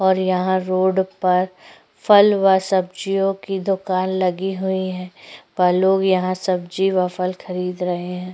और यहाँ रोड पर फल व सब्जियों की दुकान लगी हुई है पल लोग यहाँ सब्जी और फल खरीद रहे है।